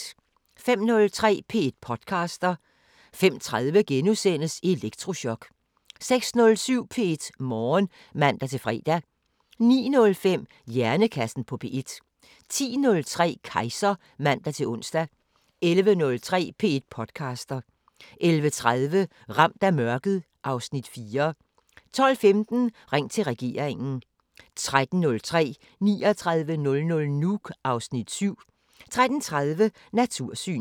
05:03: P1 podcaster 05:30: Elektrochok * 06:07: P1 Morgen (man-fre) 09:05: Hjernekassen på P1 10:03: Kejser (man-ons) 11:03: P1 podcaster 11:30: Ramt af mørket (Afs. 4) 12:15: Ring til regeringen 13:03: 3900 Nuuk (Afs. 7) 13:30: Natursyn